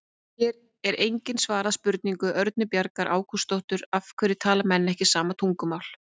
Hér er einnig svarað spurningu Örnu Bjargar Ágústsdóttur: Af hverju tala menn ekki sama tungumál?